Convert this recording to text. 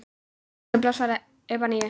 Ástin blossar upp að nýju.